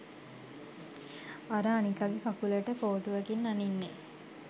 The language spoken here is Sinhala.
අර අනිකගෙ කකුළට කෝටුවකින් අනින්නෙ?